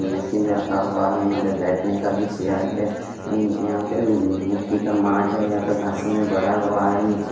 machine रखा हुआ है यहां पे बैठने का भी चेयर है यहां पे मिट्टी का माठ है यहां पे घासें में बड़ा हुआ है नीचे--